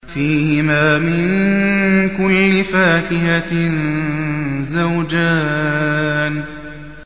فِيهِمَا مِن كُلِّ فَاكِهَةٍ زَوْجَانِ